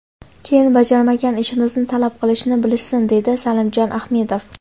Keyin bajarmagan ishimizni talab qilishni bilishsin”, deydi Salimjon Ahmedov.